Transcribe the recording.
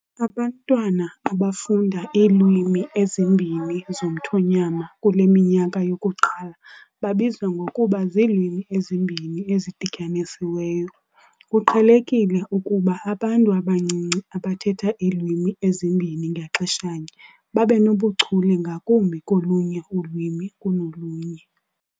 Abantwana abafunda iilwimi ezimbini zomthonyama kule minyaka yokuqala babizwa ngokuba ziilwimi ezimbini ezidityanisiweyo . Kuqhelekile ukuba abantu abancinci abathetha iilwimi ezimbini ngaxeshanye babe nobuchule ngakumbi kolunye ulwimi kunolunye.